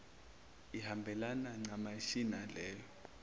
ihambelane ncamashi naleyo